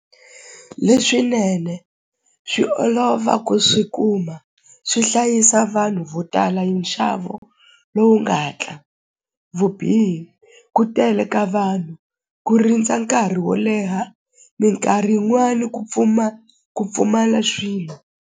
Leswinene swi olova ku swi kuma swi hlayisa vanhu vo tala hi nxavo lowu nga hatla vubihi ku tele ka vanhu ku rindza nkarhi wo leha minkarhi yin'wani ku ku pfumala swilo.